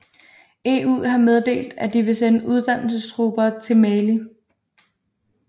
EU har meddelt at de vil sende uddannelsestropper til Mali